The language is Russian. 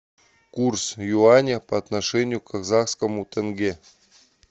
курс юаня по отношению к казахскому тенге